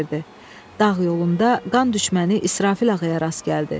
Dağ yolunda qan düşməni İsrafil ağaya rast gəldi.